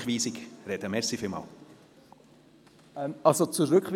Zur Rückweisung soll ich aber bereits sprechen?